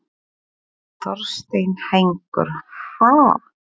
Þorsteinn Hængur: Ha?